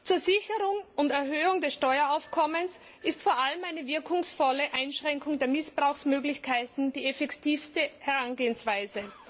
Zur Sicherung und Erhöhung des Steueraufkommens ist vor allem eine wirkungsvolle Einschränkung der Missbrauchsmöglichkeiten die effektivste Herangehensweise.